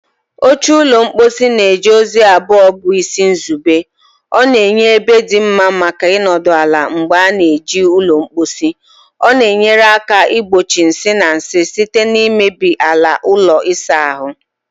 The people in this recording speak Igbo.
Oche ụlọ mposi na-eje ozi abụọ bụ isi nzube: ọ na-enye ebe dị mma maka ịnọdụ ala mgbe ị na-eji ụlọ mposi, ọ na-enyere aka igbochi nsị na nsị site na imebi ala ụlọ ịsa ahụ.